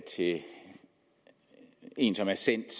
til en som er sendt